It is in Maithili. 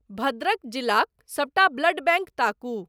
भद्रक जिलाक सबटा ब्लड बैंक ताकू ।